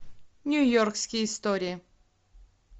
нью йоркские истории